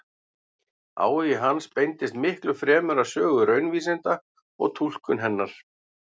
Áhugi hans beindist miklu fremur að sögu raunvísinda og túlkun hennar.